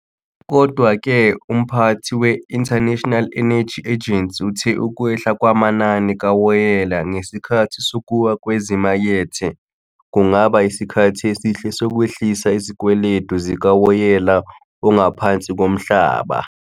Kodwa ke umphathi we- International Energy Agency uthe ukwehla kwamanani kawoyela ngesikhathi sokuwa kwezimakethe kungaba isikhathi esihle sokwehlisa izikweletu zikawoyela ongaphansi komhlaba.